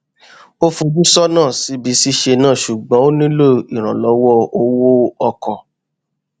ó fojú sọnà síbi ṣíṣe náà ṣùgbọn ó nílò ìrànllọwọ owó ọkọ